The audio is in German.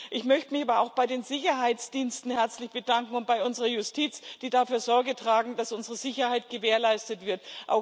Ich möchte mich aber auch bei den Sicherheitsdiensten herzlich bedanken und bei unserer Justiz, die dafür Sorge tragen, dass unsere Sicherheit gewährleistet wird.